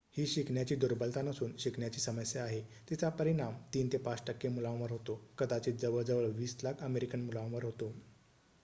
"ही शिकण्याची दुर्बलता नसून शिकण्याची समस्या आहे; तिचा परिणाम "३ ते ५ टक्के मुलांवर होतो कदाचित जवळ जवळ २० लाख अमेरिकन मुलांवर होतो"".